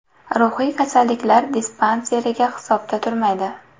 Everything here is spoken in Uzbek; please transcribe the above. Ruhiy kasalliklar dispanseriga hisobda turmaydi.